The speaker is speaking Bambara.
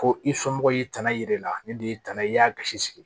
Ko i somɔgɔw y'i tana yir'e la ne de ye tana ye i y'a gasi sigi